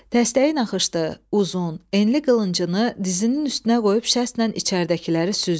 Dəstəyi naxışlı, uzun, enli qılıncını dizinin üstünə qoyub şəstlə içəridəkiləri süzdü.